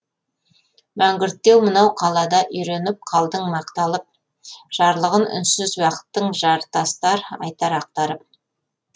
мәңгүрттеу мынау қалада үйреніп қалдың мақталып жарлығын үнсіз уақыттың жартастар айтар ақтарып